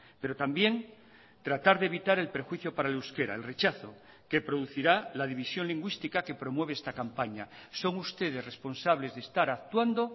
pero también tratar de evitar el perjuicio para el euskera el rechazo que producirá la división lingüística que promueve esta campaña son ustedes responsables de estar actuando